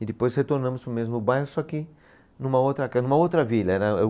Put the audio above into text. E depois retornamos para o mesmo bairro, só que numa outra ca, numa outra vila era.